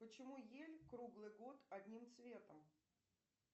почему ель круглый год одним цветом